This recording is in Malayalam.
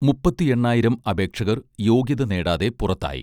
മുപ്പത്തി എണ്ണായിരം അപേക്ഷകർ യോഗ്യത നേടാതെ പുറത്തായി